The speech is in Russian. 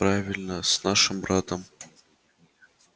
правильно с нашим братом